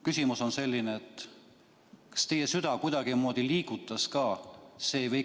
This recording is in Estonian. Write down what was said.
Küsimus on selline: kas see teie südant ka kuidagimoodi liigutas?